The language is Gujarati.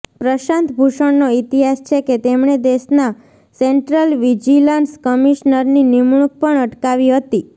પ્રશાંત ભૂષણનો ઈતિહાસ છે કે તેમણે દેશના સેન્ટ્રલ વિજિલન્સ કમિશનરની નિમણુંક પણ અટકાવી હતી